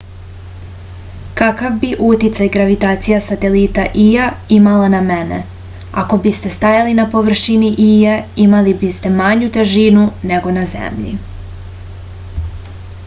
kakav bi uticaj gravitacija satelita ija imala na mene ako biste stajali na površini ije imali biste manju težinu nego na zemlji